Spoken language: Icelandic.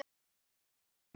Og hvernig tók hann því?